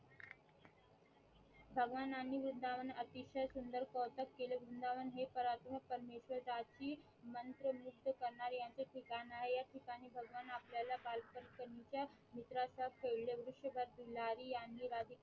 भगवानांनी वृंदावन अतिशय सुंदर स्वार्तक केले वृंदावन हे पराक्रम परमेश्वराची मंत्र मुक्त करण्याचे ठिकाण आहे ह्या ठिकाणी भगवान आपल्याला बालपणीच्या मित्राच्या भिलारी ह्यांनी